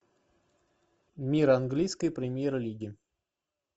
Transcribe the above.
мир английской премьер лиги